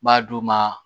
N b'a d'u ma